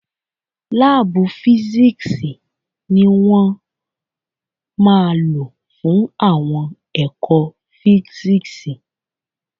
Láàbù físìksì ni wọ́n máa lò fún àwọn ẹ̀kọ́ físìksì